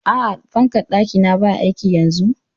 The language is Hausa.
A'a, fankar ɗaki na baya aiki yanzun?